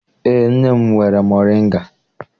Eé, nne m nwere moringa.